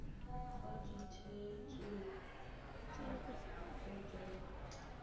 kwa ditheetsong tsa boto ya